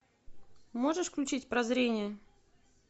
можешь включить прозрение